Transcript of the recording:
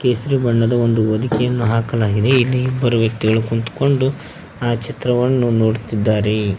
ಕೇಸರಿ ಬಣ್ಣದ ಒಂದು ಹೊದಿಕೆಯನ್ನು ಹಾಕಲಾಗಿದೆ ಇಲ್ಲಿ ಇಬ್ಬರು ವ್ಯಕ್ತಿಗಳು ಕುಂತ್ಕೊಂಡು ಆ ಚಿತ್ರವನ್ನು ನೋಡುತ್ತಿದ್ದಾರೆ.